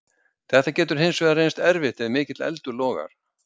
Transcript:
Þetta getur hins vegar reynst erfitt ef mikill eldur logar.